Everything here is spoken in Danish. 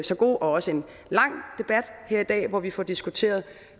så god og også lang debat her i dag hvor vi får diskuteret